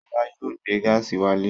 Ṣọlá yóò gbé gáásì wálé.